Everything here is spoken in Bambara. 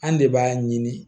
An de b'a ɲini